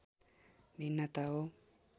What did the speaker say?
भिन्नता हो